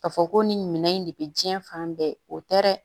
K'a fɔ ko nin minɛn in de bɛ diɲɛ fan bɛɛ o tɛ dɛ